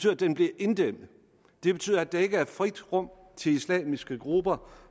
at den bliver inddæmmet det betyder at der ikke er frit rum til islamiske grupper